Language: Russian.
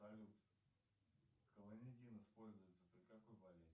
салют клонидин используется при какой болезни